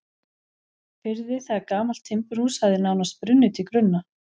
firði þegar gamalt timburhús hafði nánast brunnið til grunna.